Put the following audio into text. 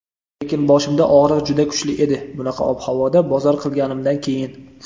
Lekin boshimda og‘riq juda kuchli edi bunaqa ob-havoda bozor qilganimdan keyin.